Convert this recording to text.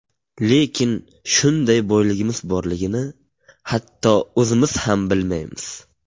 Lekin shunday boyligimiz borligini hatto o‘zimiz ham bilmaymiz.